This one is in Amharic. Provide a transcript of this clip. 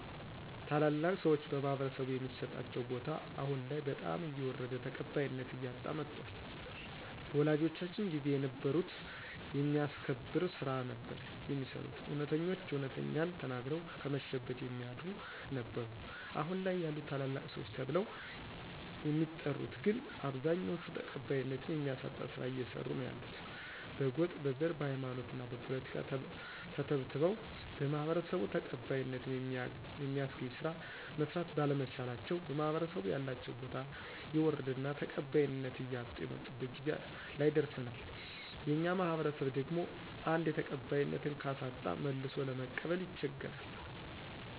ታላላቅ ሰዎች በማህበረሰቡ የሚሰጣቸው ቦታ አሁን ላይ በጣም እየወረደ ተቀባይነት እያጣ መጧል በወላጆቻችን ጊዜ የነበሩት የሚያስከብር ስራ ነበር የሚሰሩት እውነተኞች እውነትን ተናግረው ከመሸበት የሚያድሩ ነበሩ አሁን ላይ ያሉት ታላላቅ ሰዎች ተብለው የሚጠሪት ግን አብዛኛዎቹ ተቀባይነት የሚያሳጣ ስራ እየሰሩ ነው ያሉት በጎጥ: በዘር: በሃይማኖትና በፖለቲካ ተተብትበው በማህበረሰቡ ተቀባይነተ የሚያስገኝ ስራ መስራት ባለመቻላቸው በማህበረሰቡ ያላቸው ቦታ የወረደና ተቀባይነት እያጡ የመጡበት ጊዜ ላይ ደረሰናል የኛ ማህበረሰብ ደግሞ አንዴ ተቀባይነት ካሳጣ መልሶ ለመቀበል ይቸገራል።